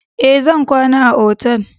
Ee, zan kwana a otal.